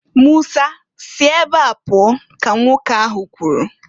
"Musa si ebe a pụọ!" ka nwoke ahụ kwuru.